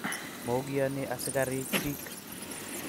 Mokiyani asikiari pik